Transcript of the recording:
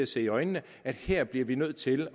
se i øjnene at her bliver vi nødt til